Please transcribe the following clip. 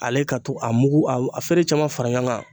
Ale ka to a mugu a feere caman fara ɲɔgɔn kan